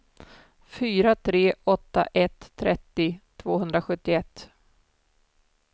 fyra tre åtta ett trettio tvåhundrasjuttioett